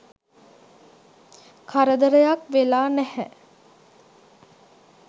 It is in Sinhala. කරදරයක් වෙලා නැහැ..